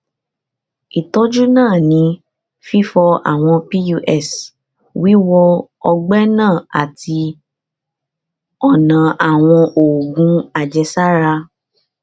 ìtọjú náà ní fífọ àwọn pus wíwọ ọgbẹ náà àti ọnà àwọn oògùn àjẹsára